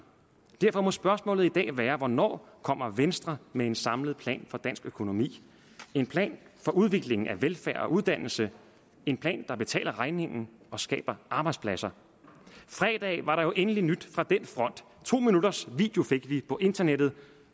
derfor må spørgsmålet i dag være hvornår kommer venstre med en samlet plan for dansk økonomi en plan for udviklingen af velfærd og uddannelse en plan der betaler regningen og skaber arbejdspladser fredag var der endelig nyt fra den front to minutters video fik vi på internettet